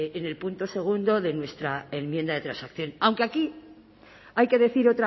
en el punto segundo de nuestra enmienda de transacción aunque aquí hay que decir